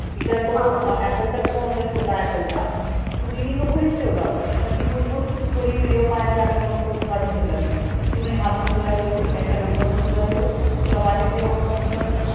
तिचा जो apple चा phone होता छोटा apple चा तो तिनी तो घरीच ठेवला होता, म ती बुलबुल थोडी video पाहायला लागली मग तो कडून घेतला तिनी, ती म्हणे हा phone तुला ठेव याचा number पण तुला ठेव, तुला वाटेल तेव्हा फोने कर